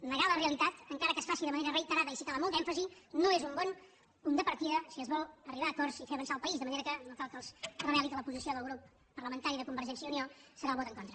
negar la realitat encara que es faci de manera reiterada i si cal amb molt d’èmfasi no és un bon punt de partida si es vol arribar a acords i fer avançar el país de manera que no cal que els reveli que la posició del grup parlamentari de convergència i unió serà el vot en contra